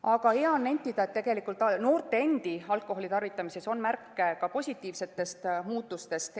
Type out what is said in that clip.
Aga hea on nentida, et tegelikult ka noorte endi alkoholitarvitamises on märke positiivsetest muutustest.